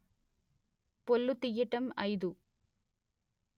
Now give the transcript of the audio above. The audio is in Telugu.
పొల్లు తియ్యటం అయిదు